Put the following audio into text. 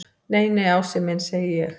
Nei, nei, Ási minn segi ég.